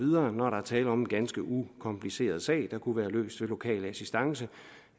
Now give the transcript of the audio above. når der er tale om en ganske ukompliceret sag der kunne være løst med lokal assistance